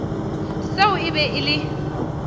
seo e be e le